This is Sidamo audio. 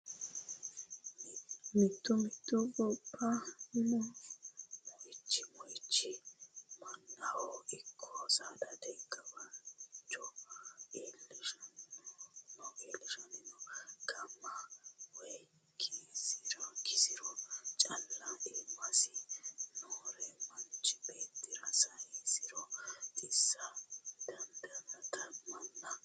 Mitu mitu gobba moichi mannaho ikko saadate gawajo iillishanohu no ga'me woyi kisiro calla iimasi noore manchi beettira saysiro xissa dandiittano manna.